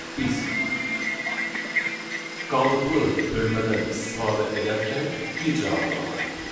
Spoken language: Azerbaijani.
Ancaq biz qalıqlı bölmədən istifadə edərkən bir cavabını alırıq.